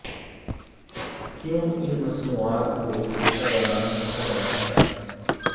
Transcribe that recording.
کیوں ان مصنوعات کی پیشہ ورانہ کہا جاتا ہے